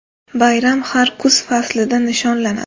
Bayram har kuz faslida nishonlanadi.